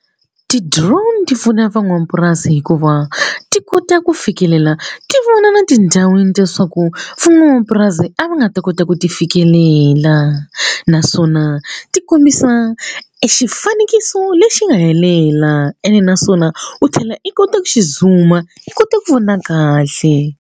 Ti-drone ti pfuna van'wamapurasi hikuva ti kota ku fikelela ti vona na tindhawini ta leswaku van'wamapurasi a va nga ta kota ku ti fikelela naswona ti kombisa e xifanekiso lexi nga helela ene naswona u tlhela i kota ku xi zoom i kota ku vona kahle.